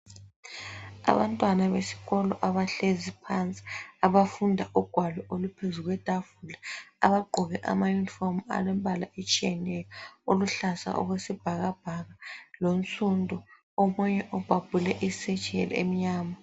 Abantwana besikolo abahlezi phansi abafunda ugwalo oluphezukwetafula abagqoke amaYunifomu alembala etshiyeneyo ,oluhlaza okwesibhakabhaka lonsundu lomunye obhabhule isetsheli emnyama.